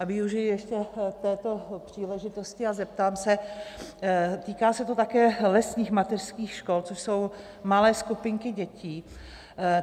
A využiji ještě této příležitosti a zeptám se, týká se to také lesních mateřských škol, což jsou malé skupinky dětí.